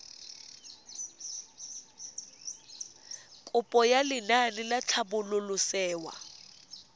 kopo ya lenaane la tlhabololosewa